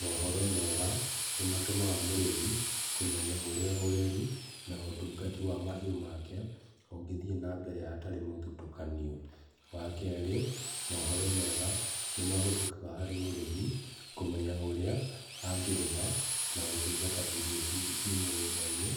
Mohoro mega nĩ matũmaga mũrĩmi kũmenya ũrĩa ũreri na ũtungati wa mahiũ make ũngĩthie na mbere hatarĩ mũthutũkanio. Wa kerĩ, mohoro mega nĩ mahũthĩkaga harĩ mũrĩmi kũmenya ũrĩa angĩrĩma na gũtungata irio ciĩ mũgũndainĩ